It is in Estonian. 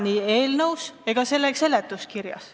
Seda ei ole eelnõus ega selle seletuskirjas.